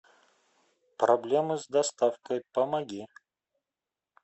проблемы с доставкой помоги